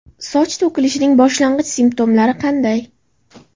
Soch to‘kilishining boshlang‘ich simptomlari qanday?